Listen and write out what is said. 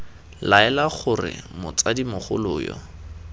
laela gore motsadi mogolo yo